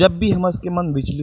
जब भी हमर स के मन विचलित --